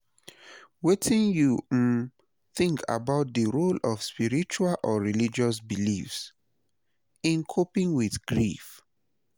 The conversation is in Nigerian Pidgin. Wetin you um think about di role of spiritual or religious beliefs in coping with grief?